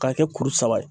K'a kɛ kuru saba ye